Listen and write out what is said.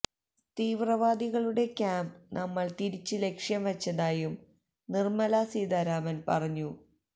തീവ്രവാദികുടെ camp നമ്മള് തിരിച്ച് ലക്ഷ്യം വച്ചതായും നിര്മ്മലാ സീതാരാമന് പറഞ്ഞു